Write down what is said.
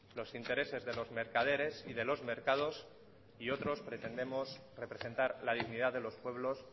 los intereses de los mercaderes y de los mercados y otros pretendemos representar la dignidad de los pueblos